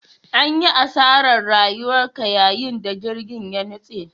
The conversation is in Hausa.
An yi asarar rayuka yayin da jirgin ya nutse.